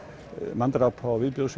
manndrápa og viðbjóðs